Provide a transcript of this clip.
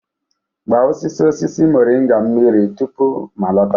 Gba osisi osisi moringa mmiri tupu m alọta.